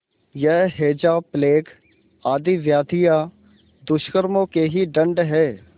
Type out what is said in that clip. यह हैजाप्लेग आदि व्याधियाँ दुष्कर्मों के ही दंड हैं